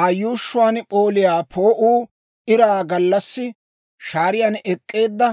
Aa yuushshuwaan p'ooliyaa poo'uu iraa gallassi shaariyaan ek'k'eedda